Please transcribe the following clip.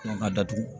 ka datugu